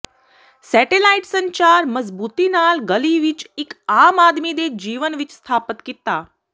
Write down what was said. satellite ਸੰਚਾਰ ਮਜ਼ਬੂਤੀ ਨਾਲ ਗਲੀ ਵਿੱਚ ਇੱਕ ਆਮ ਆਦਮੀ ਦੇ ਜੀਵਨ ਵਿਚ ਸਥਾਪਿਤ ਕੀਤਾ